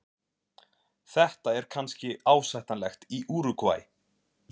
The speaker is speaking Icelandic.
Þetta er kannski ásættanlegt í Úrúgvæ.